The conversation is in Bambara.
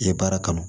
I ye baara kama